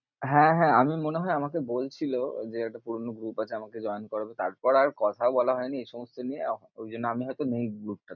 হ্যাঁ, হ্যাঁ আমি মনে হয় আমাকে বলছিলো যে একটা পুরোনো group আছে আমাকে join করাবে, তারপর আর কথা বলা হয়নি, এই সমস্ত নিয়ে ওই জন্যে আমি হয়তো নেই group এ